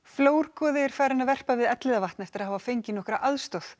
flórgoði er farinn að verpa við Elliðavatn eftir að hafa fengið nokkurra aðstoð